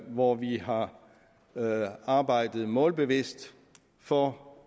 hvor vi har arbejdet målbevidst for